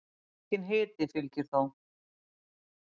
Enginn hiti fylgir þó.